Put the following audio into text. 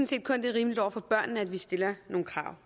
set kun det er rimeligt over for børnene at vi stiller nogle krav